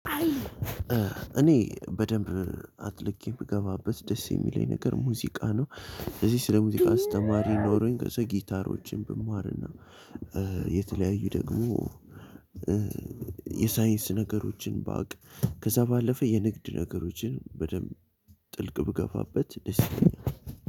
እኔ በደንብ አጥልቄ ብገባበት ደስ የሚለኝ ነገር ሙዚቃ ነው። እዚህ ስለ ሙዚቃ አስተማሪ ኖሮኝ ከዛ ጊታሮችን ብማርና። የተለያዩ ደግሞ የሳይንስ ነገሮችን ባቅ። ከዛ ባለፈ የንግድ ነገሮችን በደንብ ጥልቅ ብገፋበት ደስ ይለኛል።